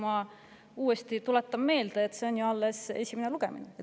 Ma tuletan uuesti meelde, et see on alles esimene lugemine.